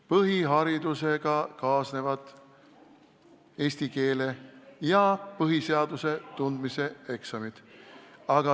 Põhiharidusega kaasnevad eesti keele ja põhiseaduse tundmise eksam.